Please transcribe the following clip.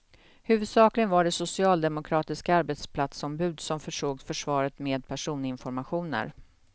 Huvudsakligen var det socialdemokratiska arbetsplatsombud som försåg försvaret med personinformationer.